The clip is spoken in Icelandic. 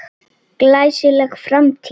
Glæsileg framtíð?